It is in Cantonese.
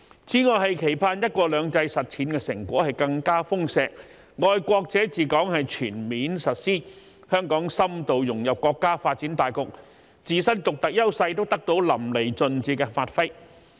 此外，期盼"一國兩制"實踐成果更加豐碩，"愛國者治港"全面實施，香港深度融入國家發展大局，自身獨特優勢得到淋漓盡致的發揮。